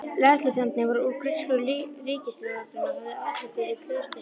Lögregluþjónarnir voru úr grísku ríkislögreglunni og höfðu aðsetur í klaustrinu.